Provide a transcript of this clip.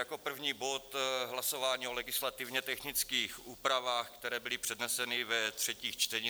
Jako první bod hlasování o legislativně technických úpravách, které byly předneseny ve třetím čtení.